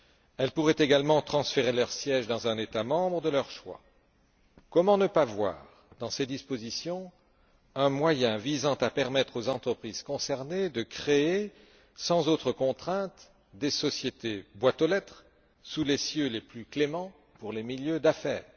Elles pourraient également transférer leur siège dans un État membre de leur choix. Comment ne pas voir dans ces dispositions un moyen visant à permettre aux entreprises concernées de créer, sans autre contrainte, des sociétés boîte aux lettres sous les cieux les plus cléments pour les milieux d'affaires?